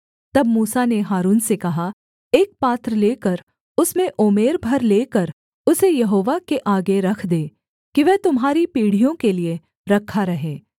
तब मूसा ने हारून से कहा एक पात्र लेकर उसमें ओमेर भर लेकर उसे यहोवा के आगे रख दे कि वह तुम्हारी पीढ़ियों के लिये रखा रहे